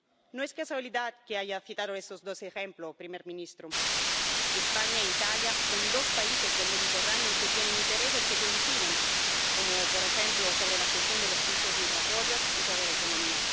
No es casualidad que haya citado estos dos ejemplos, señor primer ministro España e Italia son dos países del Mediterráneo que tienen intereses que coinciden, como, por ejemplo, la gestión de los flujos migratorios y la economía.